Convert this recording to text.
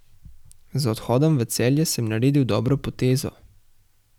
Z odhodom v Celje sem naredil dobro potezo.